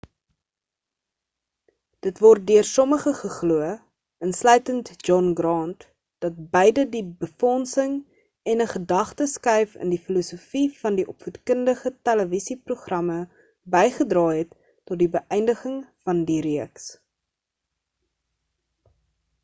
dit word deur sommige geglo insluitend john grant dat beide die befondsing en 'n gedagte skuif in die filosofie van die opvoedkundige televisie-programme bygedra het tot die beïndiging van die reeks